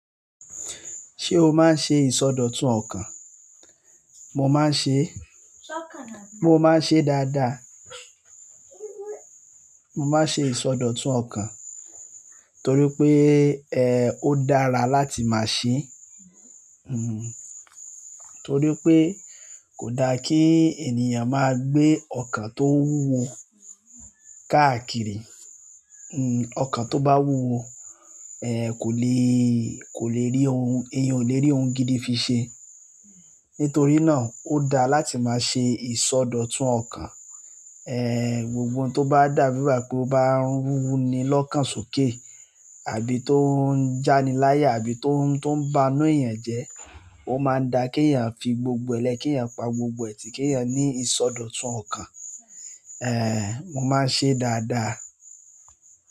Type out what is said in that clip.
Ṣé o máa ń ṣe ìsọdọ̀tun ọkàn? Mo máa ń ṣe, mo máa ń ṣe dáadáa. Mo máa ń ṣe ìsọdọ̀tun ọkàn torí pé, ó dára láti máa ṣe. Torí pé kò da kí ènìyàn máa gbé ọkàn tó wúwo káàkiri. Ọkàn to ba wuwo èèyàn o le ri ohun gidi fi ṣe. Nítorí náà o daa láti maa ṣe ìsọdọ̀tun ọkàn gbogbo ohun tó bá dàbí ìwà pé ó bá ń runi ni lọ́kàn sókè àbí tó ń jániláyà àbí tó ń, tó ń banu ènìyàn jẹ, ó máa ń da kí ènìyàn fi gbogbo ẹ lẹ́, kí ènìyàn pa gbogbo ẹ tì, kí ènìyàn ní ìsọdọ̀tun ọkàn. Ẹ̀, mo máa ń ṣe dáadáa.